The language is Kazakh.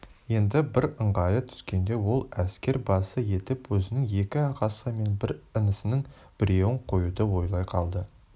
енді бір ыңғайы түскенде ол әскер басы етіп өзінің екі ағасы мен бір інісінің біреуін қоюды ойлай қалды